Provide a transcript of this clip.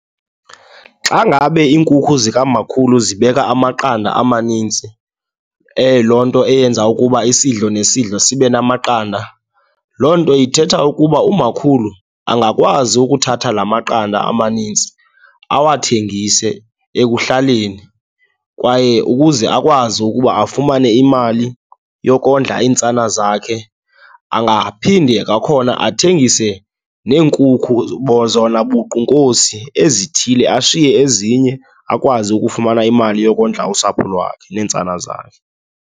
Xa ngabe iinkukhu zikamakhulu zibeka amaqanda amanintsi, loo nto eyenza ukuba isidlo nesidlo sibe namaqanda, loo nto ithetha ukuba umakhulu angakwazi ukuthatha laa maqanda amanintsi awuthengise ekuhlaleni. Kwaye ukuze akwazi ukuba afumane imali yokondla iintsana zakhe angaphinde kwakhona athengise neenkukhu zona buqu, Nkosi, ezithile ashiye ezinye akwazi ukufumana imali yokondla usapho lwakhe neentsana zakhe.